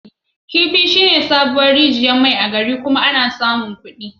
Kifi shine sabuwar rijiyar mai a gari. Kuna iya samun kuɗi daga ciki.